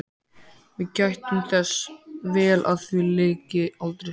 Við gættum þess vel að því lyki aldrei.